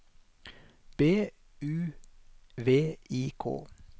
B U V I K